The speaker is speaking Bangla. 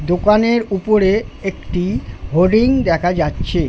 দোকানের উপরে একটি হরিণ দেখা যাচ্ছে।